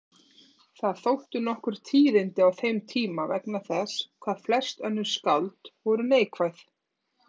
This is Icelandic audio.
Þau þóttu nokkur tíðindi á þeim tíma vegna þess hvað flest önnur skáld voru neikvæð.